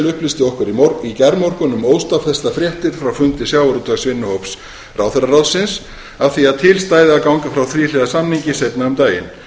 upplýsti okkur í gærmorgun um óstaðfestar fréttir frá fundi sjávarútvegsvinnuhóps ráðherraráðsins af því að til stæði að ganga frá þríhliða samningi seinna um daginn fjölmiðlarfregnir